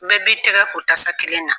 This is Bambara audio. Bɛɛ bi tɛgɛ ko tasa kelen na.